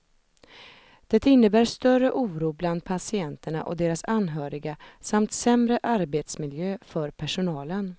Det innebär större oro bland patienterna och deras anhöriga samt sämre arbetsmiljö för personalen.